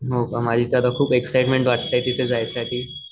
हो का माझी तर एक्सिटमेन्ट वाटते तिथ जायसाठी.